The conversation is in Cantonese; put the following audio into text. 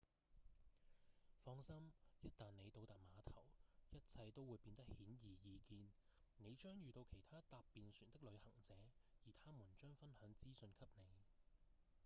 放心一旦您到達碼頭一切都會變得顯而易見您將遇到其他搭便船的旅行者而他們將分享資訊給您